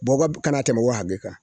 Bɔgɔ kana tɛmɛ o hakɛ kan